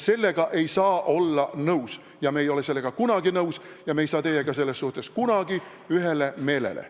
Sellega ei saa nõus olla, me ei ole sellega kunagi nõus ja me ei jõua teiega selles kunagi ühele meelele.